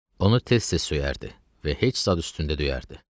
Onu tez-tez söyərdi və heç zad üstündə döyərdi.